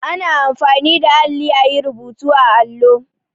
Ana anfani da alli a yi rubutu a allo.